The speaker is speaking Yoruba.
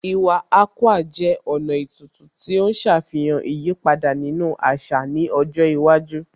Iwa Akwa jẹ́ ọ̀nà ètùtù tí ó ń ṣàfihàn ìyípadà nínú àṣà ní ọjọ́ iwájú